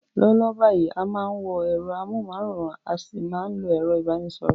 Lọ́wọ́lọ́wọ́ báyìí, a máa ń wo ẹ̀rọ amóhùnmáwòrán a sì ń lo ẹ̀rọ ìbánisọ̀rọ̀